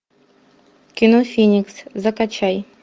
кино феникс закачай